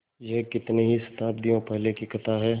यह कितनी ही शताब्दियों पहले की कथा है